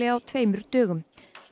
á tveimur dögum